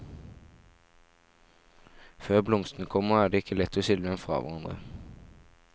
Før blomstene kommer, er det ikke lett å skille dem fra hverandre.